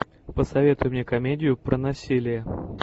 посоветуй мне комедию про насилие